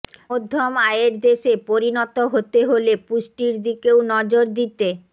মধ্যম আয়ের দেশে পরিণত হতে হলে পুষ্টির দিকেও নজর দিতে